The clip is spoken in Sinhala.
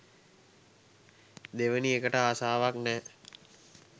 දෙවෙනි එකට ආසාවක් නෑ.